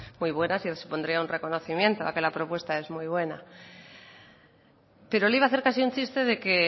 muy buenas y supondría un reconocimiento a que la propuesta es muy bueno pero le iba a hacer casi un chiste de que